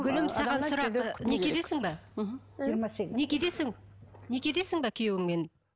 гүлім саған сұрақ некедесің бе мхм некедесің некедесің бе күйеуіңмен